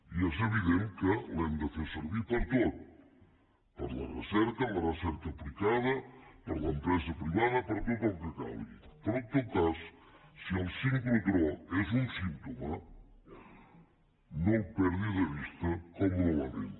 i és evident que l’hem de fer servir per a tot per a la recerca la recerca aplicada per a l’empresa privada per a tot el que calgui però en tot cas si el sincrotró és un símptoma no el perdi de vista com un element